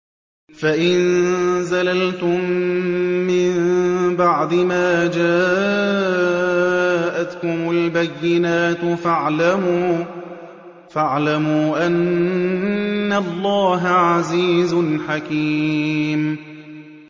فَإِن زَلَلْتُم مِّن بَعْدِ مَا جَاءَتْكُمُ الْبَيِّنَاتُ فَاعْلَمُوا أَنَّ اللَّهَ عَزِيزٌ حَكِيمٌ